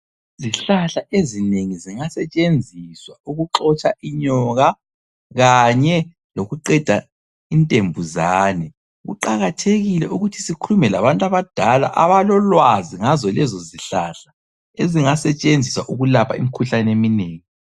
Izihlahla ezinengi zingasetshenziswa ukuxotsha inyoka kanye lokuqeda intembuzane. Kuqakathekile ukuthi sikhulume labantu abadala abalolwazi ngazo lezo zihlahla ezingasetshenziswa ukulapha imikhuhlane eminengi.